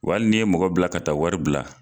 W'ali n'i ye mɔgɔ bila ka taa wari bila